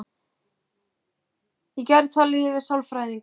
Í gær talaði ég við sálfræðing.